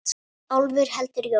Álfur heldur jól.